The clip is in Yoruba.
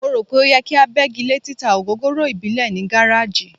Mo rò pé ó yẹ kí a bẹ́gi lé títa ògógóró ìbílẹ̀ ní gáráàjì.